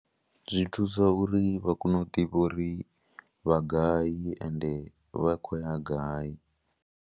Zwi thusa uri vha kone u ḓivha uri vha gai ende vha khou ya gai.